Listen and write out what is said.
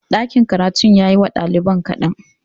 Ɗakin karatun ya yi wa ɗaliban kaɗan